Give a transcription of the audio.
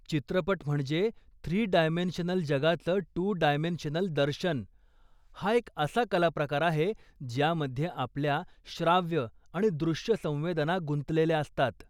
चित्रपट म्हणजे three dimensional जगाचं टू डायमेन्शनल दर्शन, हा एक असा कलाप्रकार आहे, ज्यामध्ये आपल्या श्राव्य आणि दृश्य संवेदना गुंतलेल्या असतात.